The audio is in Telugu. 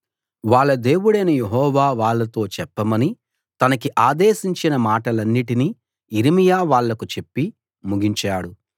వాళ్ళ దేవుడైన యెహోవా వాళ్ళతో చెప్పమని తనకి ఆదేశించిన మాటలన్నిటినీ యిర్మీయా వాళ్లకు చెప్పి ముగించాడు